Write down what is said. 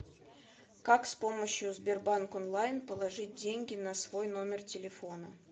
как с помощью сбербанк онлайн положить деньги на свой номер телефона